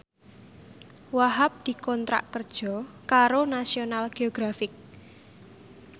Wahhab dikontrak kerja karo National Geographic